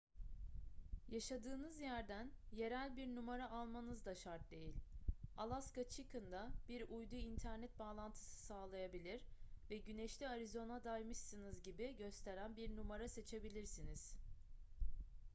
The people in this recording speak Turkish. yaşadığınız yerden yerel bir numara almanız da şart değil alaska chicken'da bir uydu internet bağlantısı sağlayabilir ve güneşli arizona'daymışsınız gibi gösteren bir numara seçebilirsiniz